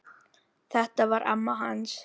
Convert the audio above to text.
Þetta var amma hans